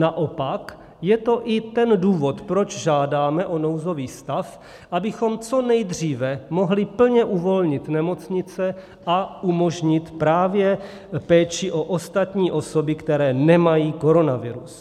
Naopak je to i ten důvod, proč žádáme o nouzový stav, abychom co nejdříve mohli plně uvolnit nemocnice a umožnit právě péči o ostatní osoby, které nemají koronavirus.